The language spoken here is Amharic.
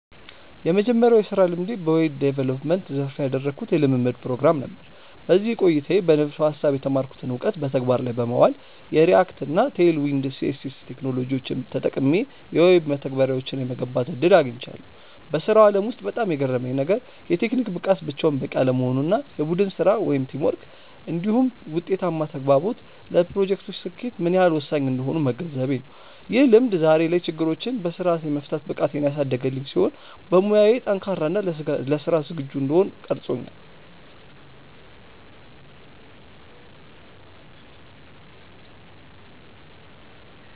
የመጀመሪያው የሥራ ልምዴ በዌብ ዲቨሎፕመንት (Web Development) ዘርፍ ያደረግኩት የልምምድ ፕሮግራም (Internship) ነበር። በዚህ ቆይታዬ በንድፈ-ሐሳብ የተማርኩትን እውቀት በተግባር ላይ በማዋል፣ የReact እና Tailwind CSS ቴክኖሎጂዎችን ተጠቅሜ የዌብ መተግበሪያዎችን የመገንባት ዕድል አግኝቻለሁ። በሥራው ዓለም ውስጥ በጣም የገረመኝ ነገር፣ የቴክኒክ ብቃት ብቻውን በቂ አለመሆኑ እና የቡድን ሥራ (Teamwork) እንዲሁም ውጤታማ ተግባቦት ለፕሮጀክቶች ስኬት ምን ያህል ወሳኝ እንደሆኑ መገንዘቤ ነው። ይህ ልምድ ዛሬ ላይ ችግሮችን በሥርዓት የመፍታት ብቃቴን ያሳደገልኝ ሲሆን፣ በሙያዬ ጠንካራ እና ለሥራ ዝግጁ እንድሆን ቀርጾኛል።